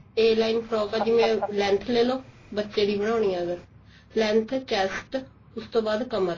a line frock ਆ ਜਿਵੇਂ length ਲੇਲੋ ਬੱਚੇ ਦੀ ਬਣਾਉਣੀ ਹੈ ਅਗਰ length chest ਉਸ ਤੋਂ ਬਾਅਦ ਕਮਰ